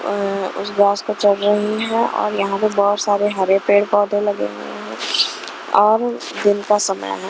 अह उस घास पे चल रही हैं और यहां पे बहुत सारे हरे पेड़ पौधे लगे हुए हैं और दिन का समय है।